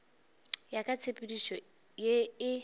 ya ka tshepedišo ye e